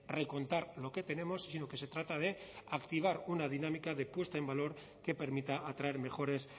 recontar lo que tenemos sino que se trata de activar una dinámica de puesta en valor que permita atraer mejores